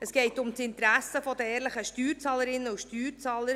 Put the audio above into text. Es geht um das Interesse der ehrlichen Steuerzahlerinnen und Steuerzahler.